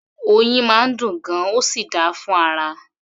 Oyin máa ń dùn gan-an, ó sì dáa fún ara